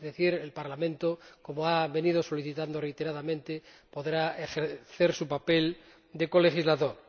Es decir, el Parlamento, como ha venido solicitando reiteradamente, podrá ejercer su papel de colegislador.